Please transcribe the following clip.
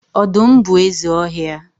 Ọdụm bụ eze ọhịa.